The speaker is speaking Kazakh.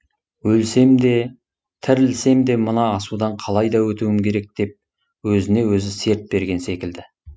өлсем де тірілсем де мына асудан қалайда өтуім керек деп өзіне өзі серт берген секілді